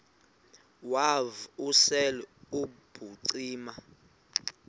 wav usel ubucima